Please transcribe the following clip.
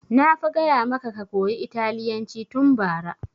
Na fa gaya maka ka koya italyanci tun bara!